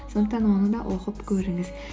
сондықтан оны да оқып көріңіз